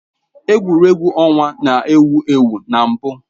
Egwuregwu ọnwa na-ewu ewu na mbụ.